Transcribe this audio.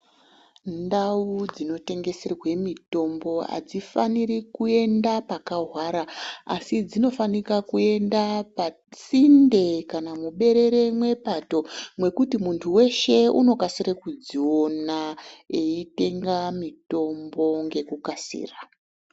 Ndau dzinotengeserwe mutombo adzifaniri kuenda pakahwara asi dzinofanira kuenda pasinde kqna muberere mwepato mwekuti muntu weshe unokasire kudziona eitenga mutombo ngekukasira.